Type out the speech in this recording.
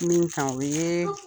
Min kan o ye